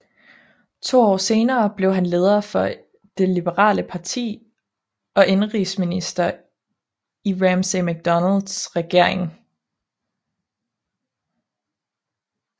To år senere blev han leder for det liberale parti og indenrigsminister i Ramsay MacDonalds regering